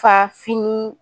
Ka fini